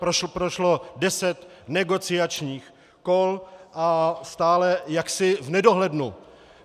Prošlo deset negociačních kol a stále jaksi v nedohlednu.